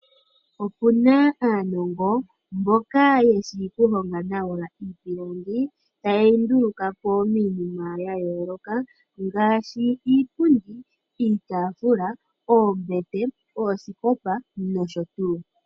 Opu na aanongo mboka ye shi okuhonga nawa iipilangi taye yi nduluka po miinima ya yooloka ngaashi iipundi, iitafula, oombete, oosikopa nosho tuu.